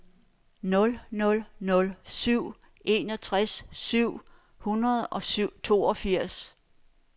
nul nul nul syv enogtres syv hundrede og toogfirs